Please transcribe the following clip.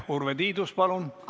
Urve Tiidus, palun!